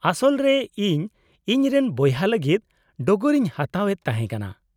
-ᱟᱥᱚᱞ ᱨᱮ ᱤᱧ ᱤᱧ ᱨᱮᱱ ᱵᱚᱭᱦᱟ ᱞᱟᱹᱜᱤᱫ ᱰᱚᱜᱚᱨ ᱤᱧ ᱦᱟᱛᱟᱣ ᱮᱫ ᱛᱟᱦᱮᱸ ᱠᱟᱱᱟ ᱾